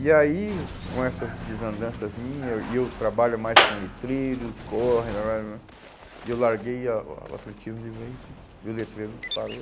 E aí, com essas desandanças minhas, e eu trabalho mais com letreiro, corre, e eu larguei a o atletismo de vez e o letreiro disparou.